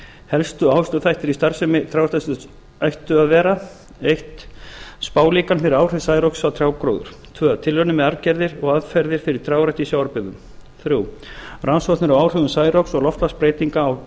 helstu áhersluþættir í starfsemi trjáræktarsetursins ættu að vera fyrsti spálíkan fyrir áhrif særoks á trjágróður annars tilraunir með arfgerðir og aðferðir fyrir trjárækt í sjávarbyggðum þriðja rannsóknir á áhrifum særoks og loftslagsbreytinga á